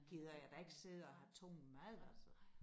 Gider jeg da ikke sidde og have tung mad altså